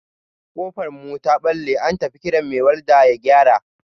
Ƙofar mu ta ɓalle, an tafi kiran mai walda ya gyara.